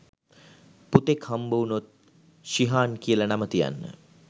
පුතෙක් හම්බ වුණොත් ශිහාන් කියලා නම තියන්න.